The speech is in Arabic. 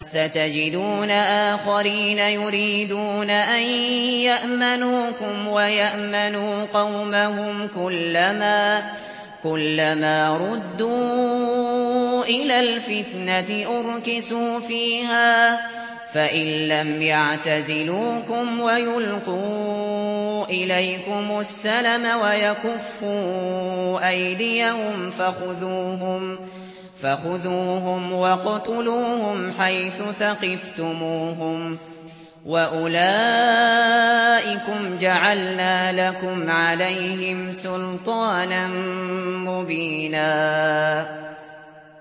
سَتَجِدُونَ آخَرِينَ يُرِيدُونَ أَن يَأْمَنُوكُمْ وَيَأْمَنُوا قَوْمَهُمْ كُلَّ مَا رُدُّوا إِلَى الْفِتْنَةِ أُرْكِسُوا فِيهَا ۚ فَإِن لَّمْ يَعْتَزِلُوكُمْ وَيُلْقُوا إِلَيْكُمُ السَّلَمَ وَيَكُفُّوا أَيْدِيَهُمْ فَخُذُوهُمْ وَاقْتُلُوهُمْ حَيْثُ ثَقِفْتُمُوهُمْ ۚ وَأُولَٰئِكُمْ جَعَلْنَا لَكُمْ عَلَيْهِمْ سُلْطَانًا مُّبِينًا